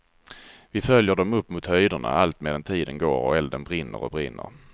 Vi följer dem upp mot höjderna allt medan tiden går och elden brinner och brinner.